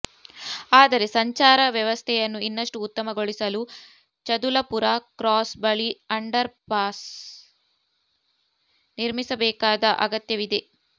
ಆದರೆ ಸಂಚಾರ ವ್ಯವಸ್ಥೆಯನ್ನು ಇನ್ನಷ್ಟು ಉತ್ತಮಗೊಳಿಸಲು ಚದುಲಪುರ ಕ್ರಾಸ್ ಬಳಿ ಅಂಡರ್ಪಾಸ್ ನಿರ್ಮಿಸಬೇಕಾದ ಅಗತ್ಯವಿದೆ